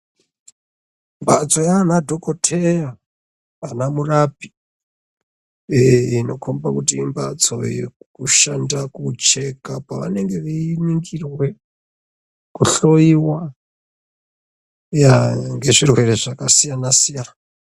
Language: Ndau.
Mbatso yanadhokotera mazvina murapi inokomba imbatso inoshanda kucheka pavanenge veiningirwa kuhloiwa nezvirwere zvakasiyana siyana.